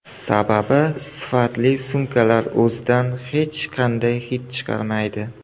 Sababi sifatli sumkalar o‘zidan hech qanday hid chiqarmaydi.